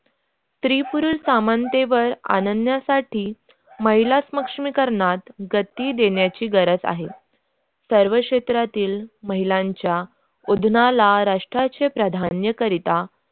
स्त्री-पुरुष समानतेवर आणण्यासाठी महिला सक्षमीकरणात गती देण्याचे गरज आहे सर्व क्षेत्रातील महिलांच्या उगमाला राष्ट्राचे प्रधान्य करिता